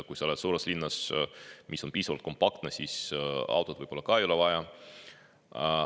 Kui sa elad suures linnas, mis on piisavalt kompaktne, siis autot võib-olla ei olegi vaja.